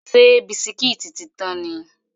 Ṣé bisikítì tí tán ni?